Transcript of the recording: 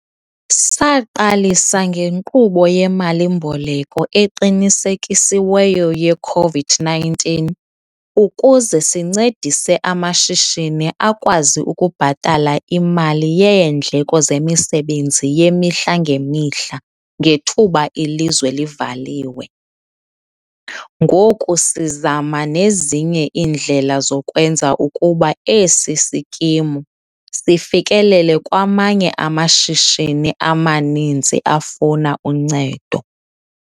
Saqalisa ngeNkqubo yeMali-mboleko Eqinisekisiweyo ye-COVID-19 ukuze sincedise amashishini akwazi ukubhatala imali yeendleko zemisebenzi yemihla ngemihla ngethuba ilizwe livaliwe, ngoku sizama nezinye indlela zokwenza ukuba esi sikimu sifikelele kwamanye amashishini amaninzi afuna uncedo.